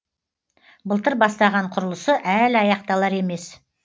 былтыр бастаған құрылысы әлі аяқталар емес